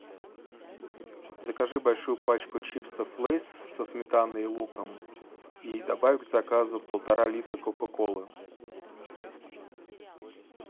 закажи большую пачку чипсов лейс со сметаной и луком и добавь к заказу полтора литра кока колы